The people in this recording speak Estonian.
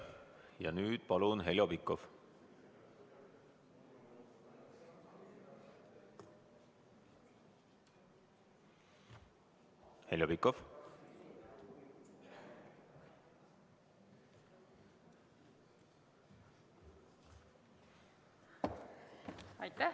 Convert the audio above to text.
Ja nüüd palun Heljo Pikhof!